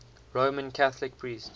roman catholic priest